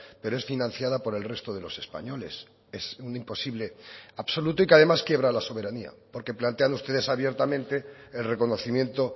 pero es financiada por el resto de los españoles es un imposible absoluto y que además quiebra la soberanía porque plantean ustedes abiertamente el reconocimiento